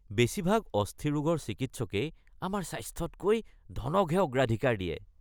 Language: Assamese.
বেছিভাগ অস্থিৰোগৰ চিকিৎসকেই আমাৰ স্বাস্থ্যতকৈ ধনকহে অগ্ৰাধিকাৰ দিয়ে